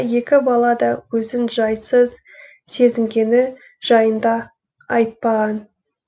екі бала да өзін жайсыз сезінгені жайында айтпаған